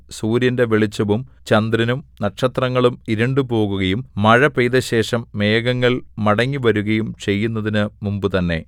സൂര്യന്റെ വെളിച്ചവും ചന്ദ്രനും നക്ഷത്രങ്ങളും ഇരുണ്ടുപോകുകയും മഴ പെയ്ത ശേഷം മേഘങ്ങൾ മടങ്ങിവരുകയും ചെയ്യുന്നതിന് മുമ്പുതന്നെ